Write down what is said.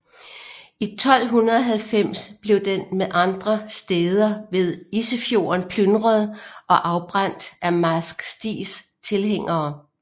I 1290 blev den med andre stæder ved Isefjorden plyndret og afbrændt af Marsk Stigs tilhængere